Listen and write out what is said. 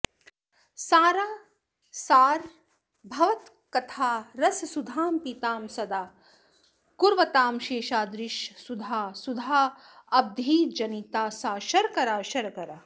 सारासारभवत्कथारससुधां पीतां सदा कुर्वतां शेषाद्रीश सुधा सुधाऽब्धिजनिता सा शर्करा शर्करा